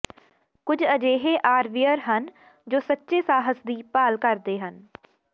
ਕੁਝ ਅਜਿਹੇ ਆਰਵੀਅਰ ਹਨ ਜੋ ਸੱਚੇ ਸਾਹਸ ਦੀ ਭਾਲ ਕਰਦੇ ਹਨ